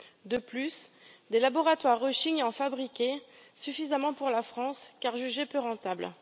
De plus, des laboratoires rechignent à en fabriquer suffisamment pour la France, jugée peu rentable.